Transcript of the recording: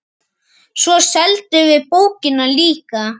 Svo seldum við bókina líka.